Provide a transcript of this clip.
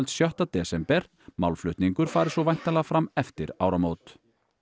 sjötti desember málflutningur fari svo væntanlega fram eftir áramót